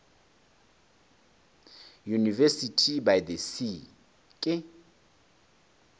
university by the sea ke